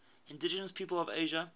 indigenous peoples of asia